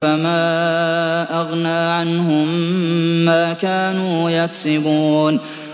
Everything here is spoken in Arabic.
فَمَا أَغْنَىٰ عَنْهُم مَّا كَانُوا يَكْسِبُونَ